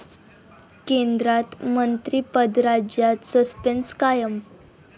केंद्रात मंत्रिपद, राज्यात सस्पेंस कायम